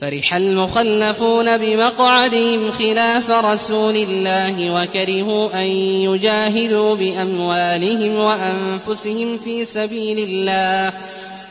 فَرِحَ الْمُخَلَّفُونَ بِمَقْعَدِهِمْ خِلَافَ رَسُولِ اللَّهِ وَكَرِهُوا أَن يُجَاهِدُوا بِأَمْوَالِهِمْ وَأَنفُسِهِمْ فِي سَبِيلِ اللَّهِ